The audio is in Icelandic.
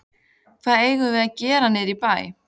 Hvað eigum við að gera niðri í bæ?